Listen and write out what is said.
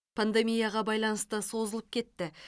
пандемияға байланысты созылып кетті